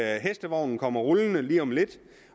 at hestevognen kommer rullende lige om lidt